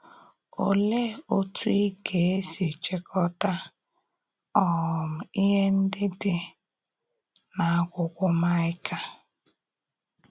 Olèé òtú ị gà-èsì chị̀kọ́tà um íhè ǹdí dị n’àkwúkwó Maịka?